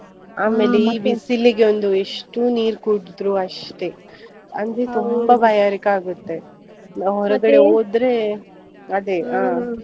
ಬಿಸಿಲಿಗೊಂದು ಎಷ್ಟು ನೀರು ಕುಡಿದ್ರು ಅಷ್ಟೇ, ಅಂದ್ರೆ ಬಾಯಾರಿಕೆ ಆಗುತ್ತೆ, ಹೋದ್ರೆ .